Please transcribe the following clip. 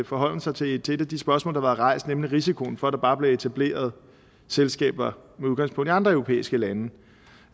forholden sig til et af de spørgsmål der rejst nemlig risikoen for at der bare bliver etableret selskaber med udgangspunkt i andre europæiske lande